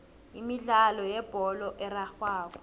imidlalo yebholo erarhwako